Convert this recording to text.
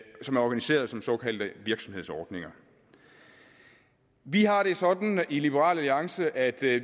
som er organiseret som såkaldte virksomhedsordninger vi har det sådan i liberal alliance at vi